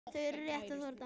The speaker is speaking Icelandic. Þau eru rétt að þorna!